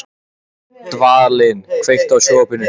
Dvalinn, kveiktu á sjónvarpinu.